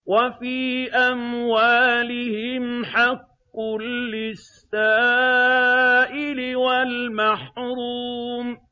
وَفِي أَمْوَالِهِمْ حَقٌّ لِّلسَّائِلِ وَالْمَحْرُومِ